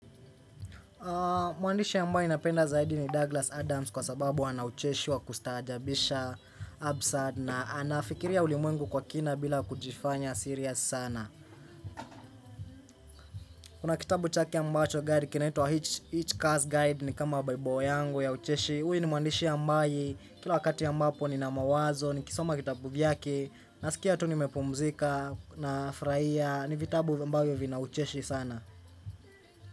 Mwandishi ambaye napenda zaidi ni Douglas Adams kwa sababu ana ucheshi wa kustajaabisha absurd na anafikiria ulimwengu kwa kina bila kujifanya sirias sana. Kuna kitabu chake ambacho guide kinaitwa Hitch Cars Guide ni kama bible yangu ya ucheshi. Huyu ni mwandishi ambaye kila wakati ambapo nina mawazo nikisoma vitabu vyake nasikia tu nimepumzika nafuraia ni vitabu ambavyo vina ucheshi sana.